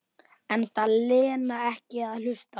Enda Lena ekki að hlusta.